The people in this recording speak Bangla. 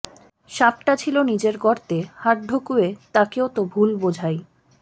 সাপটা ছিল নিজের গর্তে হাত ঢুকুয়ে তাকেও তো ভুল বোঝাই